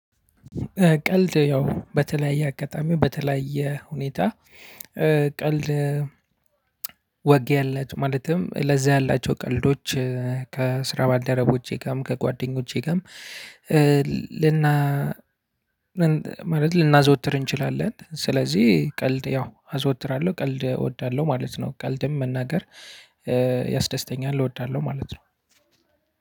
ቀልድ ያው በተለያየ አጋጣሚ በተለያየ ሁኔታ ቀልድ ያላቸው ማለትም ለዛ ያላቸው ቀልዶች ከስራ ባደረጎቼ ጋርም ከጓደኞቼ ጋርም ጋር ልና ማለት ልናዘወትር እንችላለን። ስለዚህ ቀልድ ያው አዘወትራለሁ ቀልድ እወዳለሁ ማለት ነው ቀልድም መናገር ያስደስተኛል እወዳለሁ ማለት ነው።